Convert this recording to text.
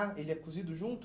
Ah, ele é cozido junto?